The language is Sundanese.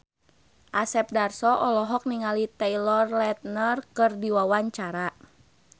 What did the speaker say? Asep Darso olohok ningali Taylor Lautner keur diwawancara